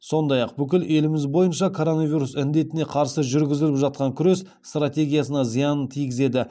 сондай ақ бүкіл еліміз бойынша коронавирус індетіне қарсы жүргізіліп жатқан күрес стратегиясына зиянын тигізеді